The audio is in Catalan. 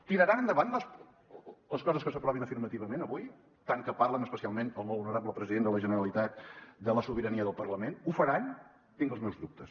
tiraran endavant les coses que s’aprovin afirmativament avui tant que parlen especialment el molt honorable president de la generalitat de la sobirania del parlament ho faran tinc els meus dubtes